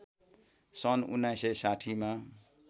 सन् १९६० मा